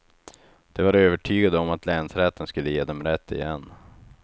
De var övertygade om att länsrätten skulle ge dem rätt igen.